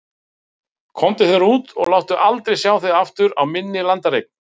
Komdu þér út og láttu aldrei sjá þig aftur á minni landareign.